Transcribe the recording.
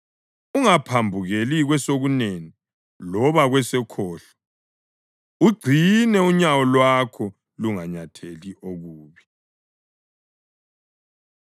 Ungaphambukeli kwesokunene loba kwesokhohlo; ugcine unyawo lwakho lunganyatheli okubi.